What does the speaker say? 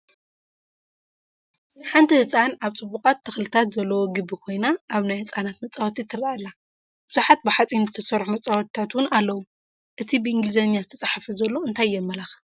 ሓንቲ ህፃን ኣብ ፅቡቓት ተኽልታት ዘለዎ ግቢ ኮይና ኣብ ናይ ህፃናት መፃወቲ ትረአ ኣላ፡፡ ብዙሓት ብሓፂን ዝተሰርሑ መፃወቲታት ውን ኣለው፡፡ እቲ ብኢንግሊዝኛ ዝተፃሓፈ ዘሎ እንታይ የመላኽት?